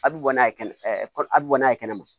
A bɛ bɔ n'a ye kɛnɛ kɔnɔ a bɛ bɔ n'a ye kɛnɛma